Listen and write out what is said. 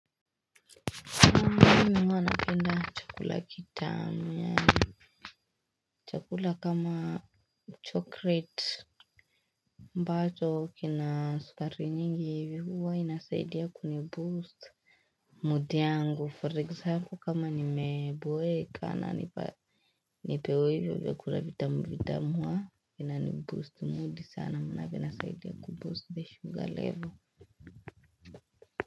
Mimi huwa napenda chakula kitamu yani. Chakula kama chocolate ambacho kina sukari nyingi hivi huwa inasaidia kuni boost Mood yangu for example kama nimeboeka nipewe hivyo vyakula vitamu vitamu ina ni boost mood sana maana inasaidia kuboost the sugar level.